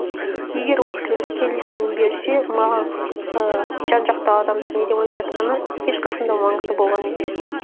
егер ол кісілер келісімін берсе маған ііі жан жақтағы адамдар не деп айтып жатқаны ешқашан да маңызды болған емес